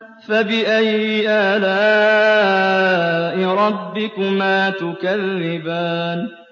فَبِأَيِّ آلَاءِ رَبِّكُمَا تُكَذِّبَانِ